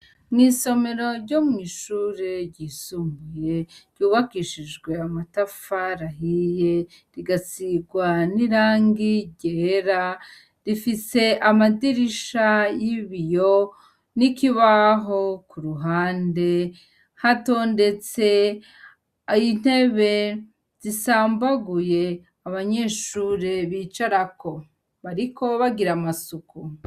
Mw'isomero ryo mw'iishuri ryisumbuye, ryubakishijwe amatafari ahiye ,rigasigwa n'irangi ryera rifise amadirisha y'ibiyo n'ikibaho ku ruhande, hatondetse intebe zisambaguye abanyeshuri bicarako bariko bagira amasuku.